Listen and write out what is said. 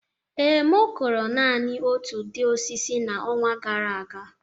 Ee, m kụrụ naanị otu ụdị osisi n'ọnwa gara aga